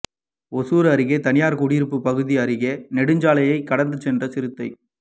ஒசூா் அருகே தனியாா் குடியிருப்பு பகுதி அருகே நெடுஞ்சாலையை கடந்து சென்ற சிறுத்தை